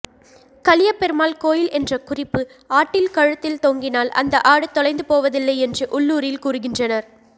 கலியபெருமாள் கோயில் என்ற குறிப்பு ஆட்டில் கழுத்தில் தொங்கினால் அந்த ஆடு தொலைந்துபோவதில்லை என்று உள்ளூரில் கூறுகின்றனர்